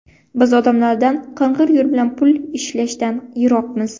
Biz odamlardan qing‘ir yo‘l bilan pul ishlashdan yiroqmiz.